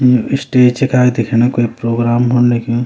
यु stage का दिखेना कोई प्रोग्राम हुन लग्युं।